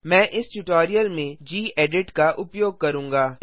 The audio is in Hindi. मैं इस ट्यूटोरियल में गेडिट का उपयोग करूँगा